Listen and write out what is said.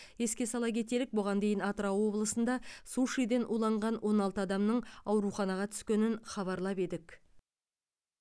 еске сала кетелік бұған дейін атырау облысында сушиден уланған он алты адамның ауруханаға түскенін хабарлап едік